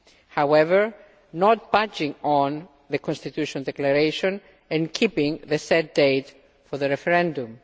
however, not budging on the Constitutional Declaration and keeping the set date for the referendum.